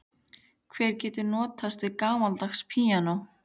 Hver getur notast við gamaldags píanó?